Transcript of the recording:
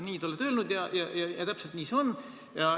Nii te olete öelnud ja täpselt nii see on.